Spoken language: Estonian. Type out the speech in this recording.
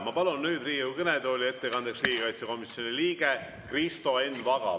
Ma palun nüüd Riigikogu kõnetooli ettekandeks riigikaitsekomisjoni liikme Kristo Enn Vaga.